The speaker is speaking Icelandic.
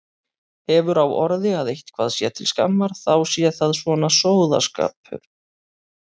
Hefur á orði að sé eitthvað til skammar þá sé það svona sóðaskapur.